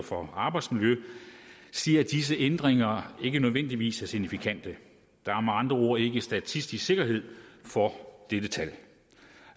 for arbejdsmiljø siger at disse ændringer ikke nødvendigvis er signifikante der er med andre ord ikke statistisk sikkerhed for dette tal